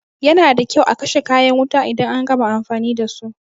Yana da kyau a kashe kayan wuta idan an gama amfani dasu.